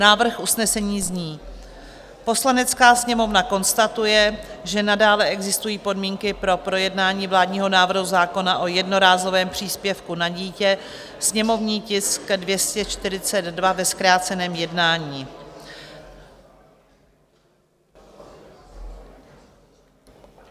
Návrh usnesení zní: "Poslanecká sněmovna konstatuje, že nadále existují podmínky pro projednání vládního návrhu zákona o jednorázovém příspěvku na dítě, sněmovní tisk 242, ve zkráceném jednání."